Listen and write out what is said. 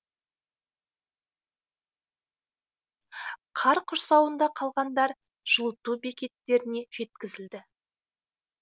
қар құрсауында қалғандар жылыту бекеттеріне жеткізілді